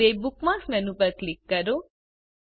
હવે bookmark menu પર click કરો